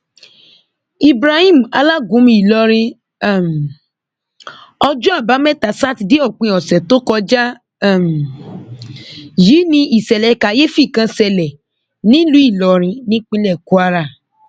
ibrahim alágúnmu ìlorin um ọjọ àbámẹta sátidé òpin ọsẹ tó kọjá um yìí ni ìṣẹlẹ kàyééfì kan ṣe nílùú ìlọrin nípínlẹ kwara